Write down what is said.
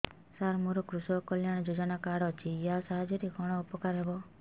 ସାର ମୋର କୃଷକ କଲ୍ୟାଣ ଯୋଜନା କାର୍ଡ ଅଛି ୟା ସାହାଯ୍ୟ ରେ କଣ ଉପକାର ହେବ